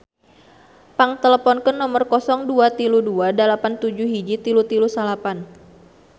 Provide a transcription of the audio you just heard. Pang teleponkeun nomer 0232 871339